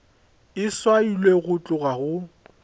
e swailwe go tloga go